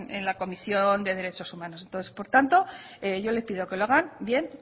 en la comisión de derechos humanos entonces por tanto yo le pido que lo hagan bien